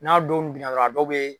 N'a don binna dɔrɔn a dɔw bɛ